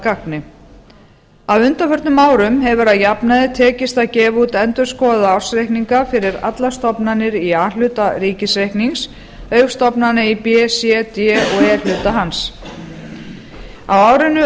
gagni á undanförnum árum hefur að jafnaði tekist að gefa út endurskoðaða ársreikninga fyrir allar stofnanir í a hluta ríkisreiknings auk stofnana í b c d og e hluta hans á árinu